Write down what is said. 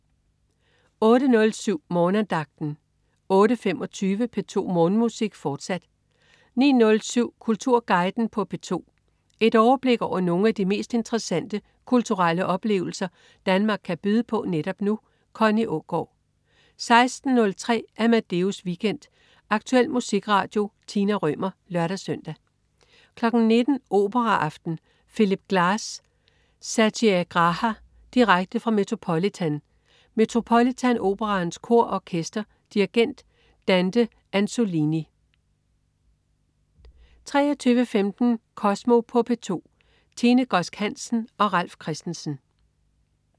08.07 Morgenandagten 08.25 P2 Morgenmusik, fortsat 09.07 Kulturguiden på P2. Et overblik over nogle af de mest interessante kulturelle oplevelser Danmark kan byde på netop nu. Connie Aagaard 16.03 Amadeus Weekend. Aktuel musikradio. Tina Rømer (lør-søn) 19.00 Operaaften. Phillip Glass: Satyagraha. Direkte fra Metropolitan. Metropolitan Operaens Kor og Orkester. Dirigent: Dante Anzolini 23.15 Kosmo på P2. Tine Godsk Hansen og Ralf Christensen